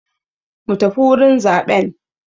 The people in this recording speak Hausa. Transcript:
Mu tafi wurin zaɓen!